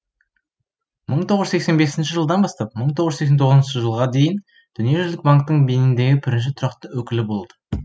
мың тоғыз жүз сексен бесінші жылдан бастап мың тоғыз жүз сексен тоғызыншы жылға дейін дүниежүзілік банктің бениндегі бірінші тұрақты өкілі болды